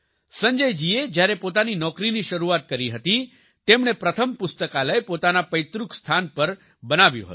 સંજય જી એ જ્યારે પોતાની નોકરીની શરૂઆત કરી હતી તેમણે પ્રથમ પુસ્તકાલય પોતાના પૈતૃક સ્થાન પર બનાવ્યું હતું